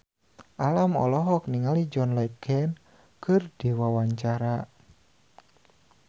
Alam olohok ningali John Legend keur diwawancara